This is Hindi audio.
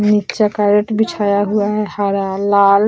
नीचे केरेट बिछाया हुआ है हरा लाल --